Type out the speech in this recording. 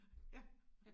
Ja